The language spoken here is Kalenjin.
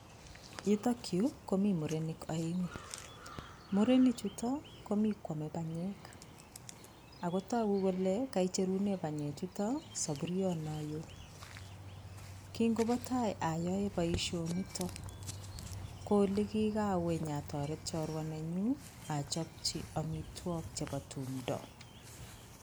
Yutok yu komii murenik aeng'u murenik chutok komii koame panyek ako togu kole kaicherune panyek chutok sapuriet nin neo, kingopatai ayae boisionitok ko ki olekikawe nyatoret chorwa nenyun achapchi amitwogik chepo tumdo.